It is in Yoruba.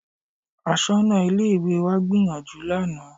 Aṣọ́nà Ilé-ìwé wa gbìyànjú lánàá